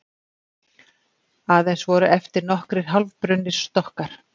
Aðeins voru eftir nokkrir hálfbrunnir stokkar